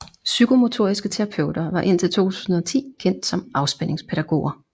Psykomotoriske terapeuter var indtil 2010 kendt som afspændingspædagoger